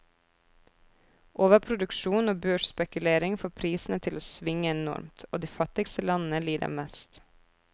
Overproduksjon og børsspekulering får prisene til å svinge enormt, og de fattigste landene lider mest.